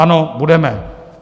Ano, budeme.